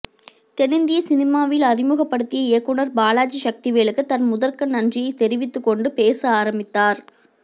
தென்னிந்திய சினிமாவில் அறிமுகப்படுத்திய இயக்குனர் பாலாஜி சக்திவேலுக்கு தன் முதற்கன் நன்றியை தெரிவித்து கொண்டு பேச ஆரம்பித்தார்